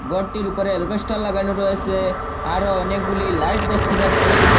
ঘরটির ওপরে অ্যালবেস্টার লাগানো রয়েসে আরও অনেকগুলি লাইট দেখতে পাচ্ছি।